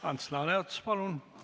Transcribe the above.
Ants Laaneots, palun!